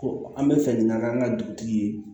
Ko an bɛ fɛ ka kɛ an ka dugutigi ye